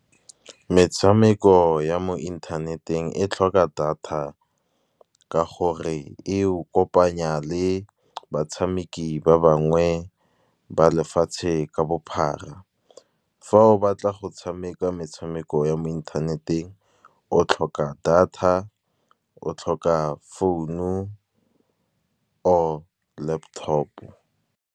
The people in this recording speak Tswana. Metshameko ya mo inthaneteng e tlhoka data, ka gore e o kopanya le batshameki ba bangwe ba lefatshe ka bophara. Fa o batla go tshameka metshameko ya mo inthaneteng, o tlhoka data, o tlhoka phone-u or laptop-o.